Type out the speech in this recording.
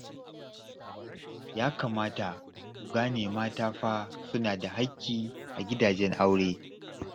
Ya kamata ku gane mata ma fa suna da haƙƙi a gidajen aure